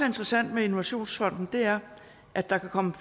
interessant med innovationsfonden er at der kan komme